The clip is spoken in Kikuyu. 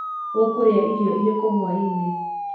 ũkũrĩa irio irĩkũ hwainĩ.